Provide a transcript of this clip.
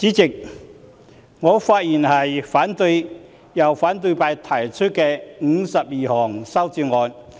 主席，我發言反對由反對派提出的52項修正案。